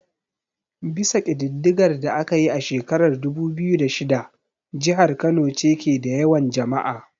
Bisa kididdigar da aka yi a shekarar dubu biyu da shida, jihar Kano ce ke da yawan jama'a.